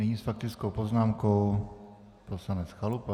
Nyní s faktickou poznámkou poslanec Chalupa.